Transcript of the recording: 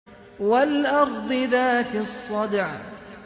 وَالْأَرْضِ ذَاتِ الصَّدْعِ